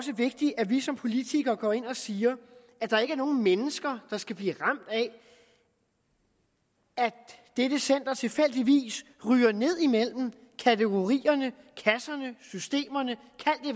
vigtigt at vi som politikere også går ind og siger at der ikke er nogen mennesker der skal blive ramt af at dette center tilfældigvis ryger ned imellem kategorierne kasserne systemerne